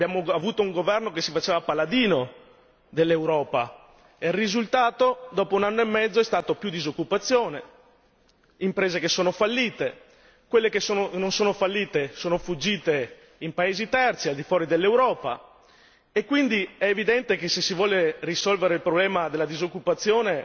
Abbiamo avuto un governo che si faceva paladino dell'Europa, il risultato, dopo un anno e mezzo, è stato più disoccupazione, imprese che sono fallite, quelle che non sono fallite sono fuggite in paesi terzi al di fuori dell'Europa e quindi è evidente che se si vuole risolvere il problema della disoccupazione,